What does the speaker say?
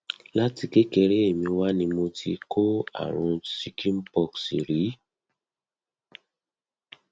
láti kékeré mi wá ni mo ti kó àrùn chicken pox rí